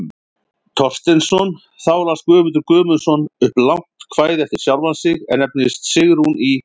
Thorsteinsson, þá las Guðmundur Guðmundsson upp langt kvæði eftir sjálfan sig, er nefnist Sigrún í